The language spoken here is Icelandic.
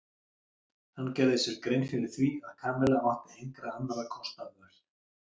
Hann gerði sér grein fyrir því að Kamilla átti engra annarra kosta völ.